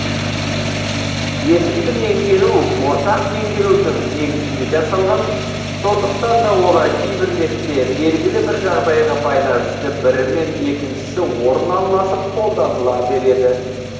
есімді меңгеру ортақ меңгерудің негізінде жасалған сондықтан да олар кейбір ретте белгілі бір жағдайға байланысты бірімен екіншісі орын алмасып қолданыла береді